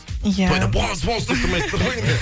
иә тойда боус боус деп тұрмайды ғой енді